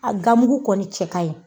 A gamkgu kɔni cɛ kaɲi